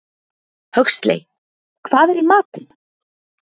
Huxley, hvað er í matinn?